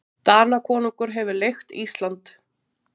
Danakonungur hefur leigt Ísland.